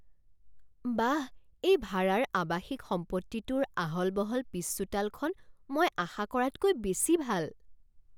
বাহ এই ভাৰাৰ আৱাসিক সম্পত্তিটোৰ আহল বহল পিছচোতালখন মই আশা কৰাতকৈ বেছি ভাল!